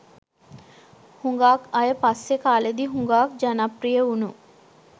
හුඟාක් අය පස්සේ කාලෙදි හුඟාක් ජනප්‍රිය වුණු